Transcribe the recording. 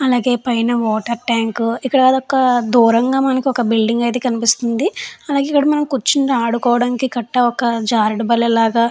అలాగే పైన water tank ఇక్కడ అదొక దూరంగా మనకు ఒక బిల్డింగ్ అయితే కనిపిస్తుంది. అలాగే మనం కూర్చొని ఆడుకోవడానికి కట్టా ఒక జారుడు బల్లలాగా --